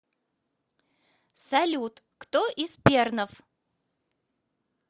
салют кто из пернов